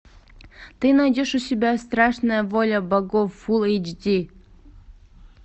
ты найдешь у себя страшная воля богов фулл эйч ди